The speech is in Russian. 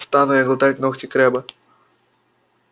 стану я глотать ногти крэбба